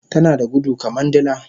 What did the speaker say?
Tanada gudu kaman dila